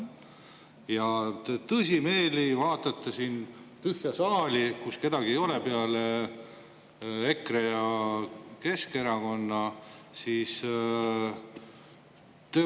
Ja te tõsimeeli vaatate siin tühja saali, kus kedagi ei ole peale EKRE ja Keskerakonna.